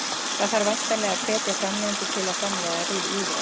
Það þarf væntanlega að hvetja framleiðendur til að framleiða lífrænt?